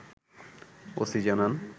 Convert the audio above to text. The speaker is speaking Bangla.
ওসি জানান